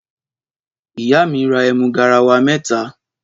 Ìyá mí rà ẹmú gàráwà mẹtà.